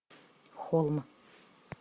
холм